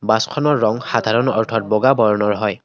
বাছখনৰ ৰঙ সাধাৰণ অৰ্থত বগা বৰণৰ হয়।